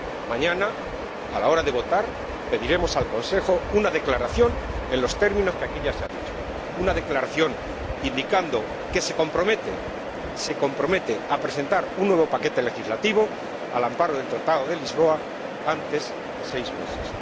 Mañana, a la hora de votar, pediremos al Consejo una declaración en los términos que aquí ya se han dicho una declaración que indique que se compromete a presentar un nuevo paquete legislativo, al amparo del Tratado de Lisboa, antes de seis meses.